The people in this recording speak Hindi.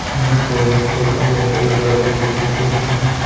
यहां टोयटो का लोगो लगा हुआ दिखाई दे रहा है।